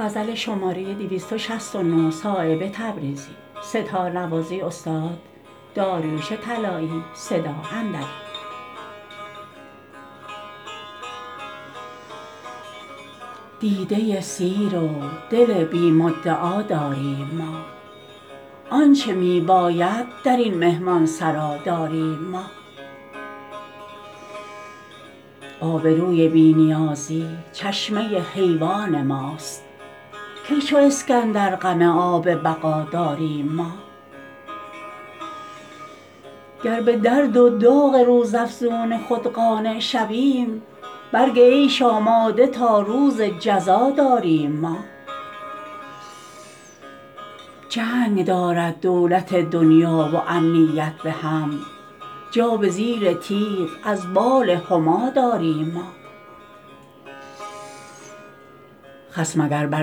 دیده سیر و دل بی مدعا داریم ما آنچه می باید درین مهمانسرا داریم ما آبروی بی نیازی چشمه حیوان ماست کی چو اسکندر غم آب بقا داریم ما گر به درد و داغ روزافزون خود قانع شویم برگ عیش آماده تا روز جزا داریم ما جنگ دارد دولت دنیا و امنیت به هم جا به زیر تیغ از بال هما داریم ما خصم اگر بر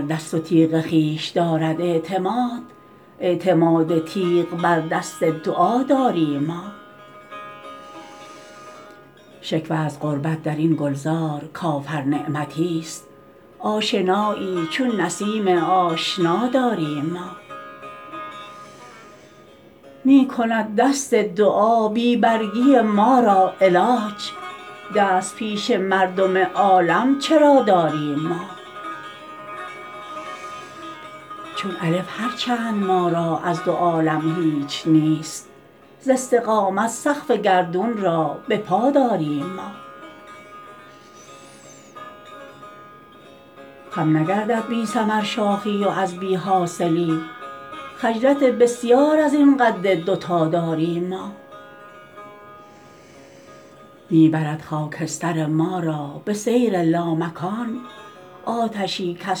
دست و تیغ خویش دارد اعتماد اعتماد تیغ بر دست دعا داریم ما شکوه از غربت درین گلزار کافر نعمتی است آشنایی چون نسیم آشنا داریم ما می کند دست دعا بی برگی ما را علاج دست پیش مردم عالم چرا داریم ما چون الف هر چند ما را از دو عالم هیچ نیست ز استقامت سقف گردون را به پا داریم ما خم نگردد بی ثمر شاخی و از بی حاصلی خجلت بسیار ازین قد دو تا داریم ما می برد خاکستر ما را به سیر لامکان آتشی کز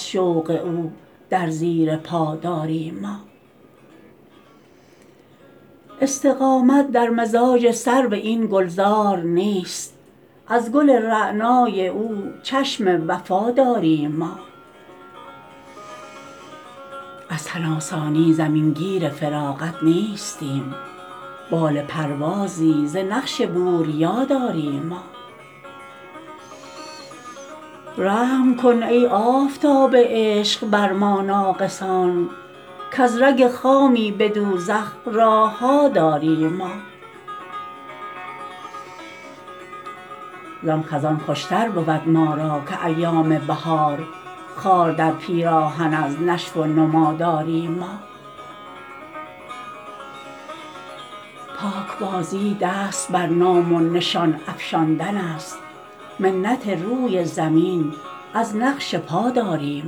شوق او در زیر پا داریم ما استقامت در مزاج سرو این گلزار نیست از گل رعنای او چشم وفا داریم ما از تن آسانی زمین گیر فراغت نیستیم بال پروازی ز نقش بوریا داریم ما رحم کن ای آفتاب عشق بر ما ناقصان کز رگ خامی به دوزخ راهها داریم ما زان خزان خوشتر بود ما را که ایام بهار خار در پیراهن از نشو و نما داریم ما پاکبازی دست بر نام و نشان افشاندن است منت روی زمین از نقش پا داریم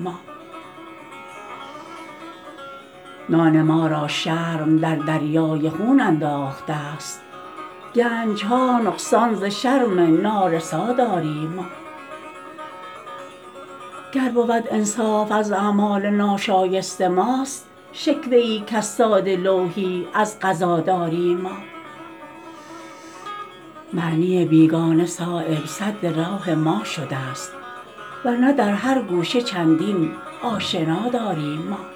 ما نان ما را شرم در دریای خون انداخته است گنج ها نقصان ز شرم نارسا داریم ما گر بود انصاف از اعمال ناشایست ماست شکوه ای کز ساده لوحی از قضا داریم ما معنی بیگانه صایب سد راه ما شده است ورنه در هر گوشه چندین آشنا داریم ما